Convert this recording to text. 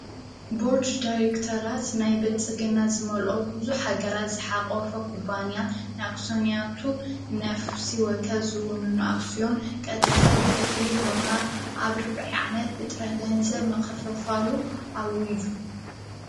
ቡርድ ዳይሬክተራት ናይ በልጽ ግናት ዝመልኦ ብዙኅ ኣገራት ዝሓቐወፈ ኩባንያ ንኣክስንያቱ ናፍሲወከ ዝውኑንኣስዮን ቐጥታዊ ክፍሊት ብምሃብ ዓብ ርብዐ ዓኅመት ብጥራህ ገንዘብ መኽፍፋሉ ኣዊዙ።